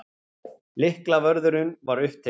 Lyklavörðurinn var upptekinn.